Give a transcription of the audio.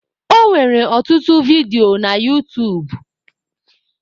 Ọ nwere ọtụtụ vidio na utuub